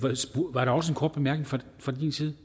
var der også en kort bemærkning fra din side